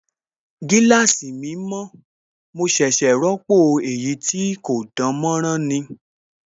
Gíláàsì mi mọ̀, mo ṣẹ̀ṣẹ̀ ròpọ̀ èyí tí kò dánmọ́nrán ni